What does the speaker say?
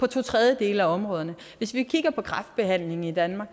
to tredjedele af områderne hvis man kigger på kræftbehandlingen i danmark